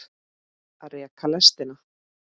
Að reka lestina